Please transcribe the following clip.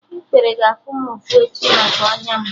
Ikpere ga-afụ m ụfụ echi maka ọnya m